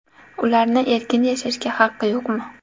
Ularni erkin yashashga haqqi yo‘qmi?